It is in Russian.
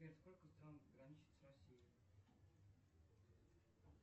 сбер сколько стран граничит с россией